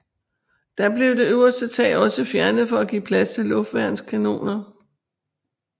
Da blev det øverste tag også fjernet for at give plads til luftværnskanoner